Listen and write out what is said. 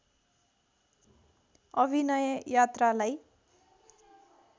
अभिनय यात्रालाई